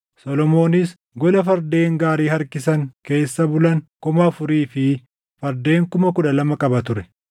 Solomoonis gola fardeen gaarii harkisan keessa bulan kuma afurii fi fardeen kuma kudha lama qaba ture.